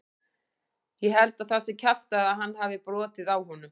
Ég held að það sé kjaftæði að hann hafi brotið á honum.